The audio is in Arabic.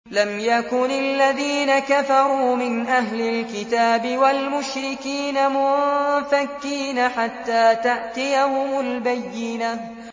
لَمْ يَكُنِ الَّذِينَ كَفَرُوا مِنْ أَهْلِ الْكِتَابِ وَالْمُشْرِكِينَ مُنفَكِّينَ حَتَّىٰ تَأْتِيَهُمُ الْبَيِّنَةُ